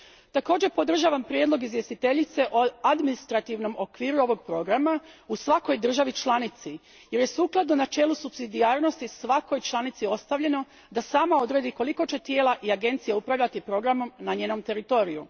Također, podržavam prijedlog izvjestiteljice o administrativnom okviru ovog programa u svakoj državi članici jer je, sukladno načelu supsidijarnosti, svakoj članici ostavljeno da sama odredi koliko će tijela i agencija upravljati programom na njenom teritoriju.